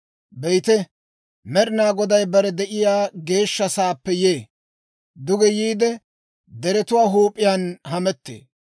Be'ite, Med'ina Goday bare de'iyaa geeshsha sa'aappe yee; duge yiide, deretuwaa huup'iyaan hamettee.